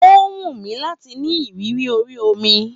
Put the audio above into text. Ó wùnmí láti ní ìrírí ori omi